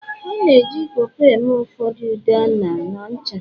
a na-eji Po Po eme ụfordo ude ah na ncha